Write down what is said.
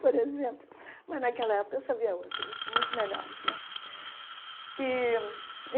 Por exemplo, mas naquela época eu sabia outras, muito melhores, né? e